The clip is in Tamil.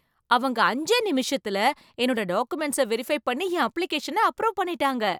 அவங்க அஞ்சே நிமிஷத்துல என்னோட டாகுமெண்ட்ஸ வெரிஃபை பண்ணி என் அப்ளிகேஷன அப்ரூவ் பண்ணிட்டாங்க.